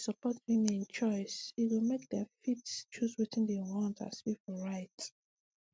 if we support women choice e go make dem fit choose wetin dem want as pipu right